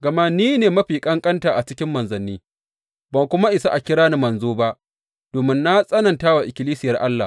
Gama ni ne mafi ƙanƙanta a cikin manzanni, ban kuma isa a kira ni manzo ba, domin na tsananta wa ikkilisiyar Allah.